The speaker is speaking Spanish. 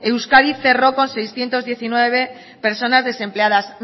euskadi cerró con seiscientos diecinueve personas desempleadas